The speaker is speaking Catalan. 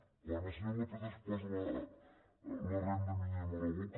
quan el senyor lópez es posa la renda mínima a la boca